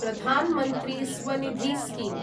Pradhan Mantri Svanidhi scheme